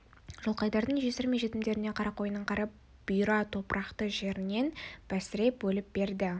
жылқайдардың жесірі мен жетімдеріне қарақойынның қара бұйра топырақты жерінен бәсіре бөліп берді